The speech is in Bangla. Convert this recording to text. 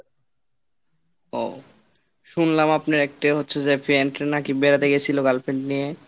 ও শুনলাম আপনার একটাই হচ্ছে যে friend নাকি বেড়াতে গেছিল girlfriend নিয়ে?